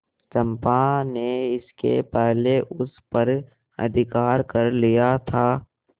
चंपा ने इसके पहले उस पर अधिकार कर लिया था